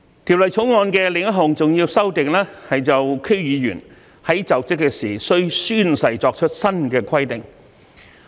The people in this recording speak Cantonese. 《條例草案》的另一項重要修訂，是就區議員在就職時須宣誓作出新規定。